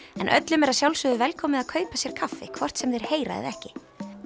en öllum er að sjálfsögðu velkomið að kaupa sér kaffi hvort sem þeir heyra eða ekki